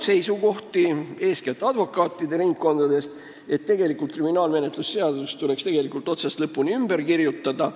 Eeskätt advokaatide ringkondadest on tulnud seisukoht, et tegelikult tuleks kriminaalmenetluse seadustik otsast lõpuni ümber kirjutada.